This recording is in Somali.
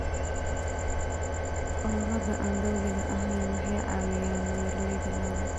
Ururada aan dowliga ahayn waxay caawiyaan beeralayda lo'da.